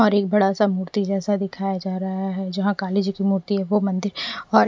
और एक बड़ा सा मूर्ति जैसा दिखाया जा रहा है जहां काली जी की मूर्ति है वो मंदिर और--